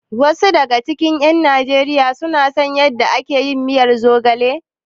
Wasu daga cikin ƴan Najeriya sun san yadda ake miyar zogala?